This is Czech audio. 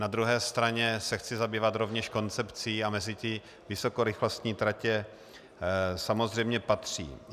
Na druhé straně se chci zabývat rovněž koncepcí a mezi to vysokorychlostní tratě samozřejmě patří.